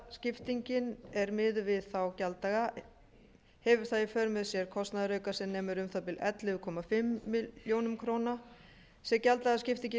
gjalddagaskiptingin er miðuð við þá gjalddaga hefur það í för með sér kostnaðarauka sem nemur um það bil ellefu og hálfa milljón króna sé gjalddagaskiptingin